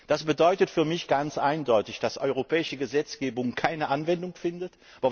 Das bedeutet für mich ganz eindeutig, dass europäische Gesetzgebung keine Anwendung findet.